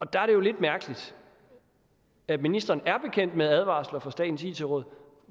der er det jo lidt mærkeligt at ministeren er bekendt med advarsler fra statens it råd